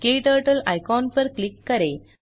क्टर्टल icon पर click करें